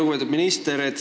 Lugupeetud minister!